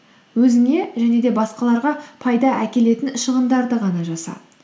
өзіңе және де басқаларға пайда әкелетін шығындарды ғана жаса